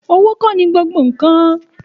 Òwo kọ ní gbogbo kàn